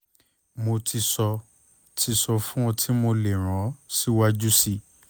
mo ti sọ ti sọ fun o ti mo le ran o siwaju sii